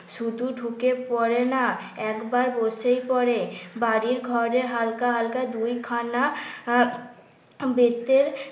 শুধু ঢুকে পড়ে না একবার বসেই পড়ে বাড়ি ঘরে হালকা হালকা দুইখানা আহ বেতের